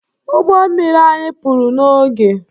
Ụgbọ mmiri anyị pụrụ n'oge